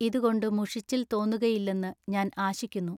ഇതുകൊണ്ടു മുഷിച്ചിൽ തോന്നുകയില്ലെന്നു ഞാൻ ആശിക്കുന്നു.